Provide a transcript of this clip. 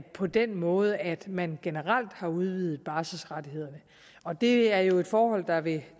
på den måde at man generelt har udvidet barselsrettighederne og det er jo et forhold der vil